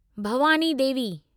Bhavani Devi